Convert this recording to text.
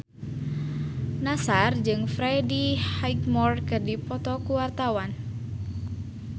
Nassar jeung Freddie Highmore keur dipoto ku wartawan